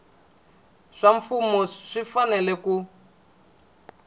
swa mfumo swi fanele ku